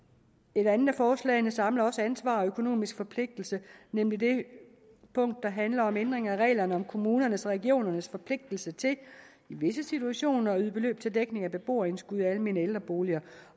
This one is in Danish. et andet af forslagene samler også ansvar og økonomisk forpligtelse nemlig det punkt der handler om ændring af reglerne om kommunernes og regionernes forpligtigelse til i visse situationer at yde beløb til dækning af beboerindskud i almene ældreboliger